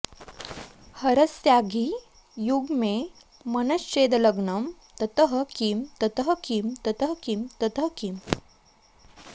हरस्याङ्घि युग्मे मनश्चेदलग्नं ततः किं ततः किं ततः किं ततः किम्